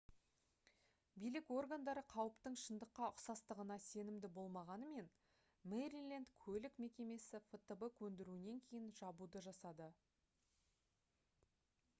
билік органдары қауіптің шындыққа ұқсастығына сенімді болмағанымен мэриленд көлік мекемесі фтб көндіруінен кейін жабуды жасады